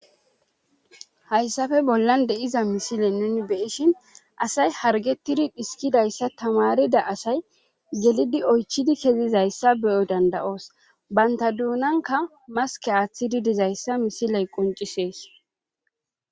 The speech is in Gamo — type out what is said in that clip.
Hayssafe bollan de'iza misile nen beyishin asay hargetidi dhiskidayssa tamarida asay gelidi oychidi kezizayssa beyoy danda'oos banta duunanka maske aaththidi dizayssa misiley qoncisees.